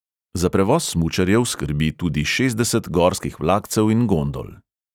Za prevoz smučarjev skrbi tudi šestdeset gorskih vlakcev in gondol.